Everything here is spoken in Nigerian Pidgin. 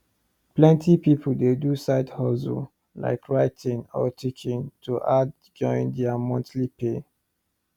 plenty people dey do side hustle like writing or teaching to add join their monthly pay